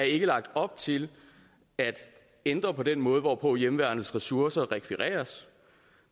ikke lagt op til at ændre på den måde hvorpå hjemmeværnets ressourcer rekvireres